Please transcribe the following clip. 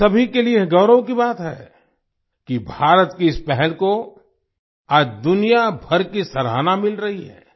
हम सभी के लिए यह गौरव की बात है कि भारत की इस पहल को आज दुनियाभर की सराहना मिल रही है